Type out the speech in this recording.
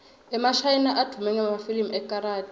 emashayina advume ngemafilimu ekarathi